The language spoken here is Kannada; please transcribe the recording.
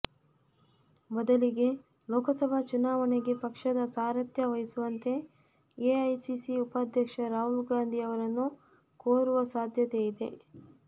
ಬದಲಿಗೆ ಲೋಕಸಭಾ ಚುನಾವಣೆಯಗೆ ಪಕ್ಷದ ಸಾರಥ್ಯ ವಹಿಸುವಂತೆ ಎಐಸಿಸಿ ಉಪಾಧ್ಯಕ್ಷ ರಾಹುಲ್ ಗಾಂಧಿ ಅವರನ್ನು ಕೋರುವ ಸಾಧ್ಯತೆಯಿದೆ